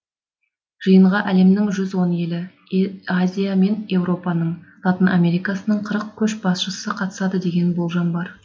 жиынға әлемнің жүз он елі азия мен еуропаның латын америкасының қырық көшбасшысы қатысады деген болжам бар